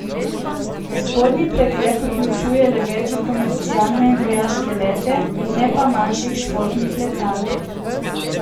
Spodnji pregled vključuje le večje komercialne in vojaške lete, ne pa manjših športnih letal.